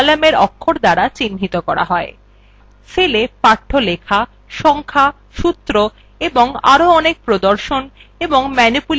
cellsএ পাঠ্য লেখা সংখ্যা সূত্র এবং আরো অনেক প্রদর্শন এবং ম্যানিপুলেশন সংক্রান্ত তথ্য থাকতে পারে